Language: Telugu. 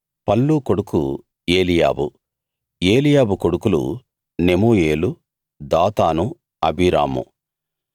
పల్లు కొడుకు ఏలీయాబు ఏలీయాబు కొడుకులు నెమూయేలు దాతాను అబీరాము